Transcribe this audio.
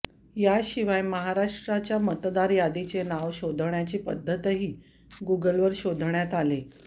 याशिवाय महाराष्ट्राच्या मतदार यादीचे नाव शोधण्याची पद्धतही गुगलवर शोधण्यात आली